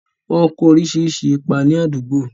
wọ́n ń kó oríṣiríṣi ipa ni àdúgbò.